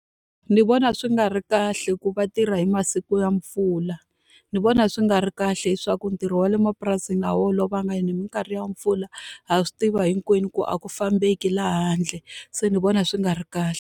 Ni vona swi nga ri kahle hikuva va tirha hi masiku ya mpfula. Ni vona swi nga ri kahle leswaku ntirho wa le mapurasini olovanga hi mikarhi ya mpfula. Ha swi tiva hinkwenu ku a ku fambeki laha handle, se ni vona swi nga ri kahle.